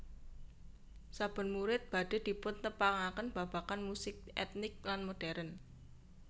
Saben murid badhe dipuntepangaken babagan musik etnik lan modern